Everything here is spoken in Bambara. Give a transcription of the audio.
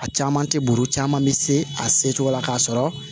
A caman tɛ buru caman bɛ se a se cogo la k'a sɔrɔ